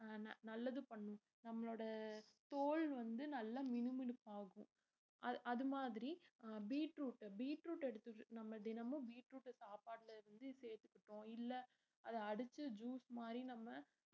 அஹ் ந~ நல்லது பண்ணும் நம்மளோட தோல் வந்து நல்லா மினுமினுப்பாகும் அ~ அது மாதிரி அஹ் பீட்ரூட் பீட்ரூட் எடுத்து~ நம்ம தினமும் பீட்ரூட்ட சாப்பாட்டுல இருந்து சேர்த்துக்கிட்டோம் இல்ல அத அடிச்சு juice மாதிரி நம்ம